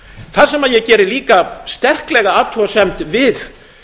það sem ég geri líka sterklega athugasemd við